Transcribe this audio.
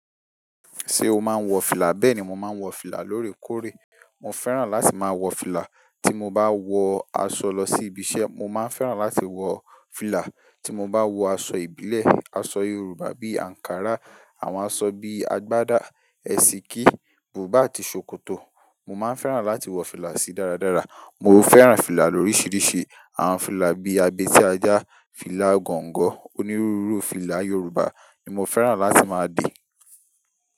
Ṣé o máa ń wọ fìlà? Bẹ́ẹ̀ ni, mo máa ń wọ fìlà lóòrèkóòrè. Mo fẹ́ràn láti máa wọ fìlà tí mo bá wọ aṣọ lọ sí ibi iṣẹ́. Mo máa ń fẹ́ràn láti wọ fìlà tí mo bá wọ aṣọ ìbílẹ̀, aṣọ Yorùbá bí i ankara, àwọn aṣọ bí i àgbádà, ẹ̀sìkí, bùbá àti ṣòkòtò. Mo máa ń fẹ́ràn láti wọ fìlà sí dáradára. Mo fẹ́ràn fìlà lórisìíríṣìí. Àwọn fìlà bíi abé tí ajá, fìlà gọ̀ǹgọ̀, onírúurú fìlà Yorùbá ni mo fẹ́ràn láti máa de.